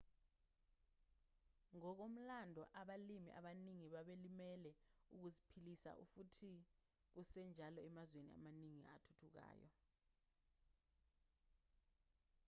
ngokomlando abalimi abaningi babelimela ukuziphilisa futhi kusenjalo emazweni amaningi athuthukayo